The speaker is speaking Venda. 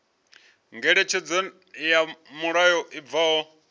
ngeletshedzo ya mulayo i bvaho